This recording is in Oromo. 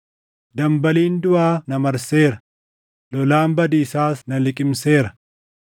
Dambaliin duʼaa na marseera; lolaan badiisaas na liqimseera.